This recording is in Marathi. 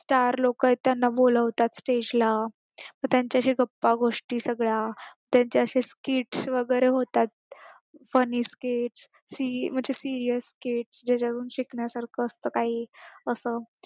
चार लोक आहेत त्यांना बोलवतात stage ला त्यांच्याशी गप्पा गोष्टी सगळ्या त्यांच्याशी speech वगैरे होतात funny speech म्हणजे serious speech त्याच्याकडे शिकण्यासारखं असतं काही असं